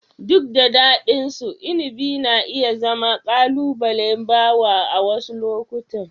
Duk da daɗinsu, inabi na iya zama ƙalubalen bawo a wasu lokuta.